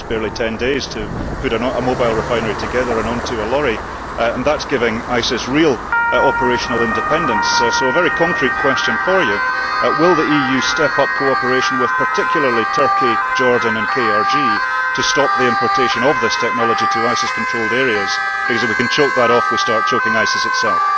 It takes barely 10 days to put a mobile refinery together and on to a lorry, and that is giving ISIS real operational independence, so a very concrete question for you will the EU step up cooperation, particularly with Turkey, Jordan and the KRG to stop the importation of this technology to ISIS controlled areas, because if we can choke that off we start choking ISIS itself.